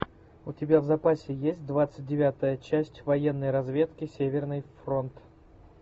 у тебя в запасе есть двадцать девятая часть военной разведки северный фронт